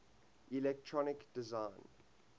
electronic design